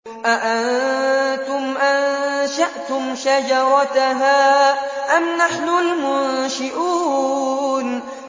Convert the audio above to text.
أَأَنتُمْ أَنشَأْتُمْ شَجَرَتَهَا أَمْ نَحْنُ الْمُنشِئُونَ